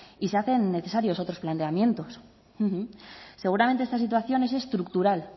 y se hacen necesarios otros planteamientos seguramente esta situación es estructural